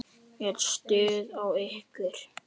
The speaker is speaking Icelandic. Er stuð á ykkur?